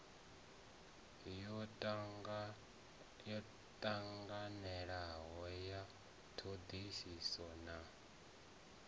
yo tanganelanaho ya thodisiso na